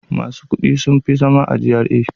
Masu kuɗi sun fi zama a GRA.